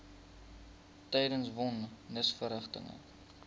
tydens von nisverrigtinge